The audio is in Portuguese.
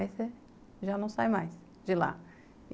Aí você já não sai mais de lá.